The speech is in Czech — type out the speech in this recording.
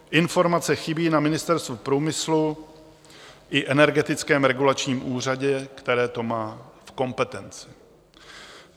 Informace chybí na Ministerstvu průmyslu i Energetickém regulačním úřadě, které to má v kompetenci.